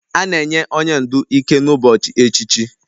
A na-enye onye ndu ike n'ụbọchị echichi